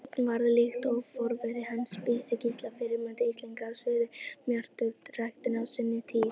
Björn varð, líkt og forveri hans Vísi-Gísli, fyrirmynd Íslendinga á sviði matjurtaræktar á sinni tíð.